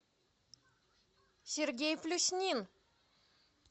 сергей плюснин